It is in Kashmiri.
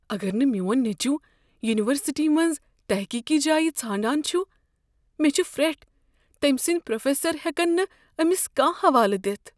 اگر نہٕ میٛون نیٚچو ینیورسٹی منٛز تحقیقی جایہ ژھانٛڑان چھ، مےٚ چھ فر٘ٹھ تمہِ سٕنٛدِ پروفیسر ہٮ۪کن نہٕ أمس کانٛہہ حوالہٕ دتھ۔